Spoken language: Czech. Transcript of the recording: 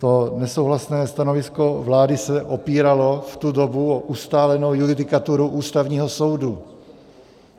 To nesouhlasné stanovisko vlády se opíralo v tu dobu o ustálenou judikaturu Ústavního soudu.